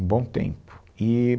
Um bom tempo. Eee